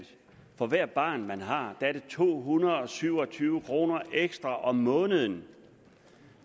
for hvert barn man har er det to hundrede og syv og tyve kroner ekstra om måneden